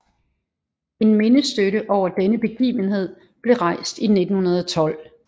En mindestøtte over denne begivenhed blev rejst i 1912